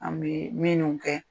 An bɛ minun kɛ.